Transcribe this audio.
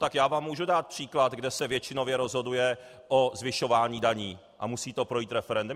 Tak já vám můžu dát příklad, kde se většinově rozhoduje o zvyšování daní a musí to projít referendem.